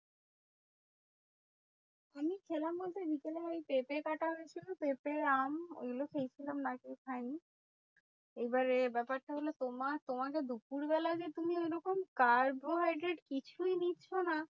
আমি খেলাম বলতে বিকেলে ওই পেঁপে কাটা হয়েছিল পেঁপে আম এগুলো খেয়েছিলাম আর কিছু খাইনি। এইবারে ব্যাপারটা হলো তোমার তোমাদের দুপুরবেলা যে তুমি ঐরকম কার ভয় যে কিছুই নিচ্ছো না?